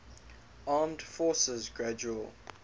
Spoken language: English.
armed forces gradual